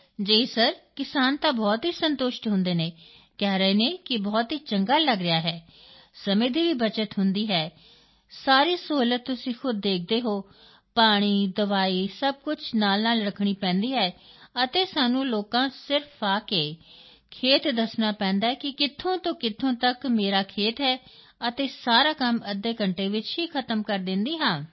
ਜੀ ਸਰ ਕਿਸਾਨ ਤਾਂ ਬਹੁਤ ਹੀ ਸੰਤੁਸ਼ਟ ਹੁੰਦੇ ਹਨ ਕਹਿ ਰਹੇ ਹਨ ਬਹੁਤ ਚੰਗਾ ਲੱਗ ਰਿਹਾ ਹੈ ਸਮੇਂ ਦੀ ਵੀ ਬੱਚਤ ਹੁੰਦੀ ਹੈ ਸਾਰੀ ਸਹੂਲਤ ਤੁਸੀਂ ਖੁਦ ਦੇਖਦੇ ਹੋ ਪਾਣੀ ਦਵਾਈ ਸਭ ਕੁਝ ਨਾਲਨਾਲ ਰੱਖਣੀ ਪੈਂਦੀ ਹੈ ਅਤੇ ਸਾਨੂੰ ਲੋਕਾਂ ਸਿਰਫ ਆ ਕੇ ਖੇਤ ਦੱਸਣਾ ਪੈਂਦਾ ਹੈ ਕਿ ਕਿੱਥੋਂ ਤੋਂ ਕਿੱਥੋਂ ਤੱਕ ਮੇਰਾ ਖੇਤ ਹੈ ਅਤੇ ਸਾਰਾ ਕੰਮ ਅੱਧੇ ਘੰਟੇ ਵਿੱਚ ਹੀ ਖਤਮ ਕਰ ਦਿੰਦੀ ਹਾਂ